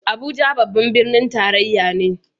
Abuja babban birnin tarayya ne